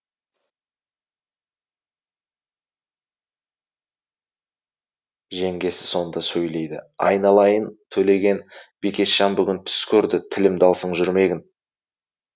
жеңгесі сонда сөйлейді айналайын төлеген бикешжан бүгін түс көрді тілімді алсаң жүрмегін